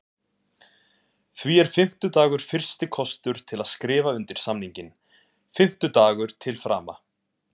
Því er fimmtudagur fyrsti kostur til að skrifa undir samninginn, fimmtudagur til frama.